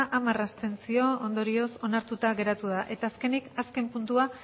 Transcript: hamar abstentzio ondorioz onartuta geratu da eta azkenik azken puntua